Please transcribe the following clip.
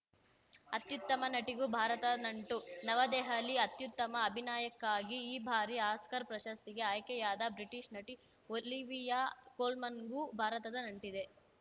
ಅತ್ಯುತ್ತಮ ನಟಿಗೂ ಭಾರತ ನಂಟು ನವದೆಹಲಿ ಅತ್ಯುತ್ತಮ ಅಭಿನಯಕ್ಕಾಗಿ ಈ ಬಾರಿ ಆಸ್ಕರ್‌ ಪ್ರಶಸ್ತಿಗೆ ಆಯ್ಕೆಯಾದ ಬ್ರಿಟಿಷ್‌ ನಟಿ ಒಲಿವಿಯಾ ಕೋಲ್ಮನ್‌ಗೂ ಭಾರತದ ನಂಟಿದೆ